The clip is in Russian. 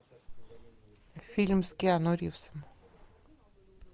фильм с киану ривзом